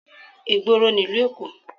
Ìgboro nílùú Èkó